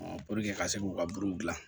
puruke ka se k'u ka buruw gilan